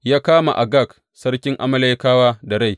Ya kama Agag sarkin Amalekawa da rai.